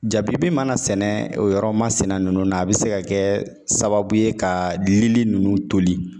Jabibi mana sɛnɛ o yɔrɔ masina nunnu na a bi se ka kɛ sababu ye ka lili ninnu toli.